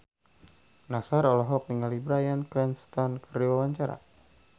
Nassar olohok ningali Bryan Cranston keur diwawancara